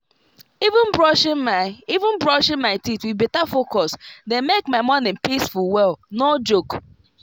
even brushing my even brushing my teeth with better focus dey make my morning peaceful well no joke.